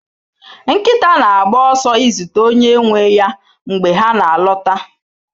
Nkịta na-agba ọsọ izute onye nwe ya mgbe ha na-alọta